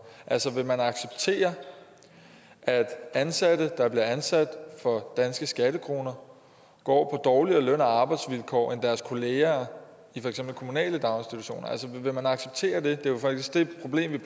altså vil man acceptere at ansatte der bliver ansat for danske skattekroner går på dårligere løn og arbejdsvilkår end deres kolleger i for eksempel kommunale daginstitutioner vil man acceptere det det er jo faktisk det problem